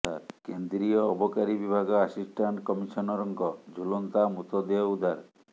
କେନ୍ଦ୍ରୀୟ ଅବକାରୀ ବିଭାଗ ଆସିଷ୍ଟାଣ୍ଟ କମିସନରଙ୍କ ଝୁଲନ୍ତା ମୃତଦେହ ଉଦ୍ଧାର